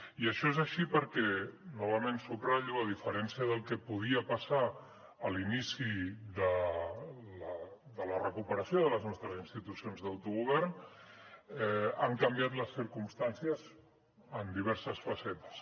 i això és així perquè novament ho subratllo a diferència del que podia passar a l’inici de la recuperació de les nostres institucions d’autogovern han canviat les circumstàncies en diverses facetes